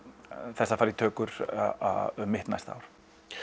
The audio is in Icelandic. þess að fara í tökur um mitt næsta ár